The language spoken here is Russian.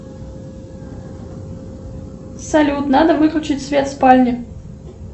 салют надо выключить свет в спальне